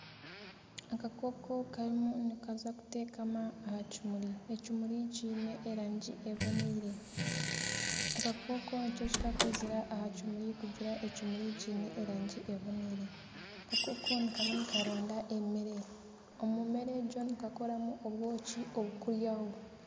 Akakooko karimu nikaza kuteekama aha kimuri, ekimuri kiine erangi ebonire akakooko nikyo kakwizira aha kimuri kugira ekimuri kiine erangi ebonire. Akakooko nikaba nikaronda emere omu mere egyo nikakoramu obwoki obu turikuryaho.